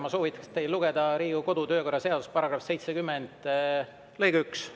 Ma soovitan teil lugeda Riigikogu kodu‑ ja töökorra seaduse § 70 lõiget 1.